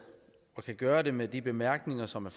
og kan gøre det med de bemærkninger som er